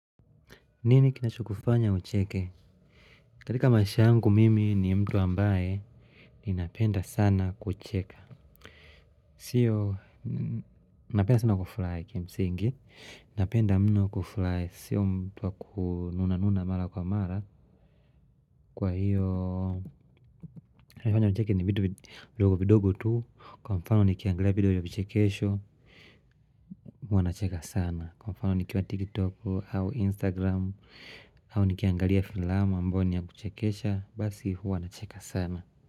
Nini kinachokufanya ucheke? Katika maisha yangu mimi ni mtu ambaye ninapenda sana kucheka. Sio, napenda sana kufurahi kimsingi. Napenda mno kufurahi sio mtu wa kununa nuna mara kwa mara. Kwa hio, kinachonifanya nicheke ni vitu vidogo vidogo tu. Kwa mfano, nikiangalia video ya vichekesho huwa nacheka sana. Kwa mfano nikiwa tiktok au instagram au nikiangalia filamu ambayo niya kuchekecha basi huwa nacheka sana.